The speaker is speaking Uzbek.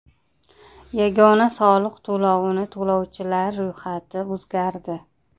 Yagona soliq to‘lovini to‘lovchilar ro‘yxati o‘zgardi.